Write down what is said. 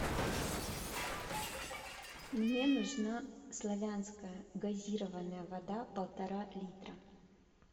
мне нужна славянская газированная вода полтора литра